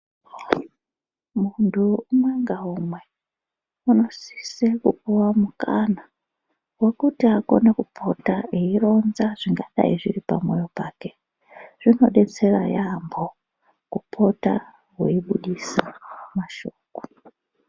Muntu umwe ngaumwe unosise kupuwa mukana wekuti akone kupota eironza zvingadai zviri pamwoyo pake, zvinodetsera yaamho kupota weibudisa mashoko.